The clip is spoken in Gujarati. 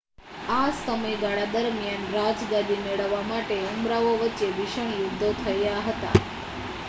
આ સમયગાળા દરમિયાન રાજગાદી મેળવવા માટે ઉમરાવો વચ્ચે ભીષણ યુદ્ધો થયા હતા